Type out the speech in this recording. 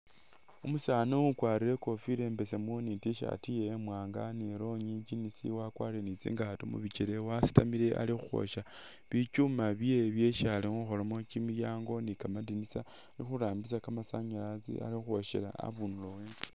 Umusaani ukwalire ikofila i'mbesemu ni t-shirt iyewe imwaanga ni longi jinisi wakwalire ni tsingaato mubichele wasitamile ali khukhwoosha bichuma byewe byesi khukholamo kimilyango ni kamadinisa ali khurambisa kamasanyalazi ali khukhwoosha a'bundulo we'nzu